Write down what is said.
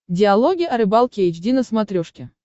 диалоги о рыбалке эйч ди на смотрешке